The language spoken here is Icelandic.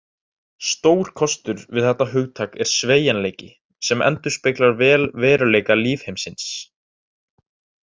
Stór kostur við þetta hugtak er sveigjanleiki, sem endurspeglar vel veruleika lífheimsins.